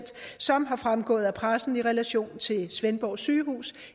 som er fremgået af pressen i relation til svendborg sygehus